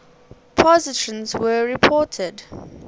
positrons were reported